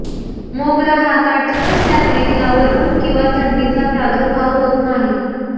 मोगरा हा काटक असल्याने यावर ऊन किंवा थंडीचा प्रादुर्भाव होत नाही